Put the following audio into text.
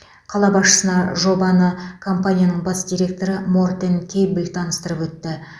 қала басшысына жобаны компанияның бас директоры мортен кэйблл таныстырып өтті